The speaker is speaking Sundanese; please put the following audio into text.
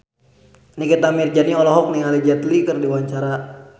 Nikita Mirzani olohok ningali Jet Li keur diwawancara